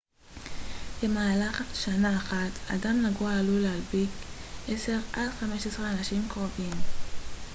במהלך שנה אחת אדם נגוע עלול להדביק 10 עד 15 אנשים קרובים